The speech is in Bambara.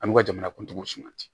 An b'u ka jamana kuntigiw sumati